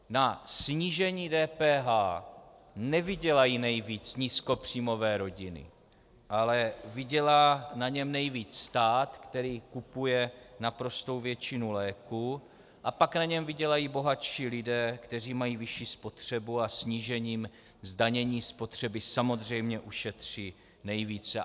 Na snížení DPH nevydělají nejvíc nízkopříjmové rodiny, ale vydělá na něm nejvíc stát, který kupuje naprostou většinu léků, a pak na něm vydělají bohatší lidé, kteří mají vyšší spotřebu a snížením zdanění spotřeby samozřejmě ušetří nejvíce.